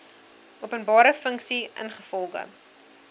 openbare funksie ingevolge